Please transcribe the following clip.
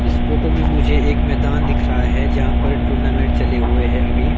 इस फोटो में मुझे एक मैदान दिख रहा है जहां पर टूर्नामेंट चले हुए हैं अभी--